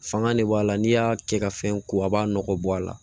Fanga de b'a la n'i y'a kɛ ka fɛn ko a b'a nɔgɔ bɔ a la